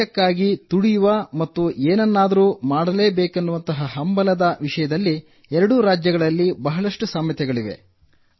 ದೇಶಕ್ಕಾಗಿ ತುಡಿಯುವ ಮತ್ತು ಎನನ್ನಾದರೂ ಮಾಡಬೇಕೆನ್ನುವ ಹಂಬಲದ ವಿಷಯದಲ್ಲಿ ಎರಡೂ ರಾಜ್ಯಗಳಲ್ಲಿ ಬಹಳಷ್ಟು ಸಾಮ್ಯತೆಗಳಿವೆ